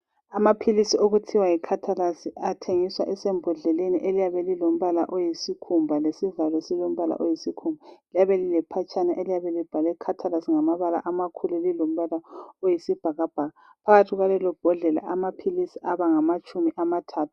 Amaphilisi okuthiwa yiCatalese athengiswa esembodleleni eliyabe lilombala oyisikhumba lesivalo esilombala oyisikhumba. Liyabe lilephetshana eliyabe libhalwe Khathalasi ngamabala amakhulu lilombala oyisibhakabhaka phakathi kwalelombodlela amaphilisi abangamatshumi amathathu.